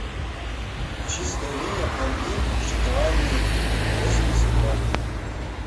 чистая линия пломбир шоколадный восемьдесят грамм